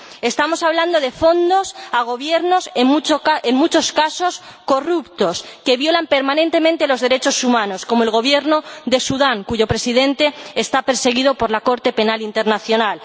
Estamos hablando de fondos para Gobiernos, en muchos casos, corruptos, que violan permanentemente los derechos humanos, como el Gobierno de Sudán, cuyo Presidente está perseguido por la Corte Penal Internacional.